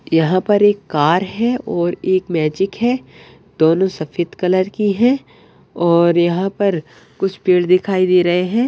यहा पर एक कार है और एक मैजिक है दोनों सफ़ेद कलर की है और यहा पर कुछ पेड़ दिखाई दे रहे है।